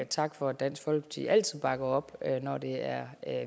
tak for at dansk folkeparti altid bakker op når det er